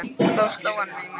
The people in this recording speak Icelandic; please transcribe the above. Þá sló hann mig með svipunni.